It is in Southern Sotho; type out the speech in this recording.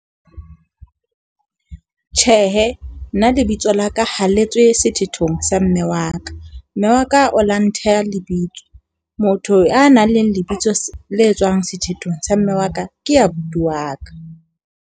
Tjhehe, nna lebitso la ka ha le tswe sethithong sa mme wa ka, mme wa ka o la ntheha lebitso, motho a nang le lebitso le tswang sethithong sa mme wa ka, ke abuti wa ka.